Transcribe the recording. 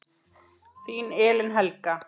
Þín Elín Helga.